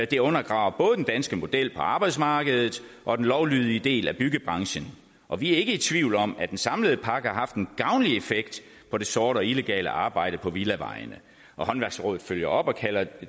det undergraver både den danske model på arbejdsmarkedet og den lovlydige del af byggebranchen og vi er ikke i tvivl om at den samlede pakke har haft en gavnlig effekt på det sorte og illegale arbejde på villavejene og håndværksrådet følger op og kalder